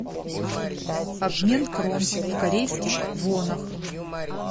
обмен крон в корейских вонах